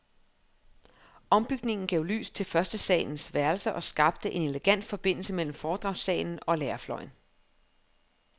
Ombygningen gav lys til førstesalens værelser og skabte en elegant forbindelse mellem foredragssalen og lærerfløjen.